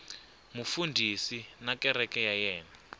mufundhisi na kereke ya yena